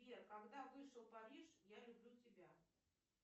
сбер когда вышел париж я люблю тебя